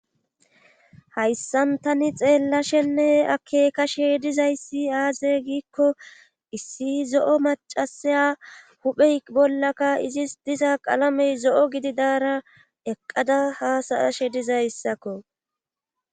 Hayssan tani xeellashenne ake kashe dizayssi aazee giikko issi zo7o macasaya huphey bollaka izis diza qalamey zo7o gidi daara eqqada haasayashe dizayssakko